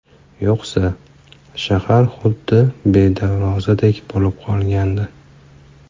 Yo‘qsa, shahar huddi bedarvozadek bo‘lib qolgandi.